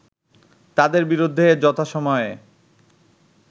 তাদের বিরুদ্ধে যথাসময়ে